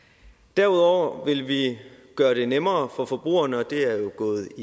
derudover vil vi gøre det nemmere for forbrugerne og det er jo gået